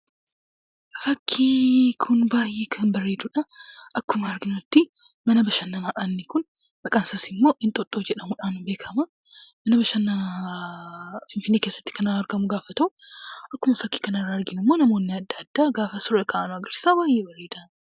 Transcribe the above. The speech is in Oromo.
Fakkiin kun baayyee kan bareedudha. Akkuma arginutti, mana bashananaadha inni kun. Maqaansaasimmoo Inxooxxoo jedhamudhaan kan beekkama. iddoo bashannanaa finfinnee keessaatti kan argamu gaafa ta'u, akkuma fakkii kanarraa arginummoo namoonni adda addaa gaafa suuraa ka'an argarsiisa baayyee bareeda